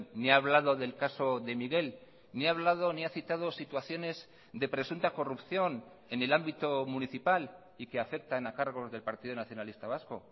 ni ha hablado del caso de miguel ni ha hablado ni ha citado situaciones de presunta corrupción en el ámbito municipal y que afectan a cargos del partido nacionalista vasco